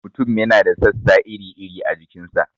Mutum yana da sassa iri-iri a jikin sa.